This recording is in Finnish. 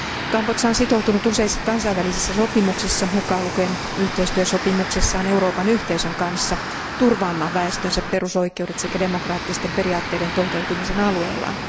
Kambodža on sitoutunut useissa kansainvälisissä sopimuksissa, mukaan lukien yhteistyösopimuksessaan Euroopan yhteisön kanssa, turvaamaan väestönsä perusoikeudet sekä demokraattisten periaatteiden toteutumisen alueellaan.